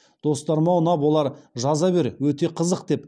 достарыма ұнап олар жаза бер өте қызық деп